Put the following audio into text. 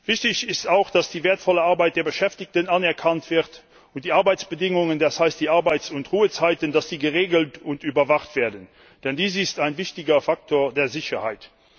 Wichtig ist auch, dass die wertvolle Arbeit der Beschäftigten anerkannt wird und die Arbeitsbedingungen, das heißt die Arbeits und Ruhezeiten, geregelt und überwacht werden. Denn dies ist ein wichtiger Faktor der Sicherheit.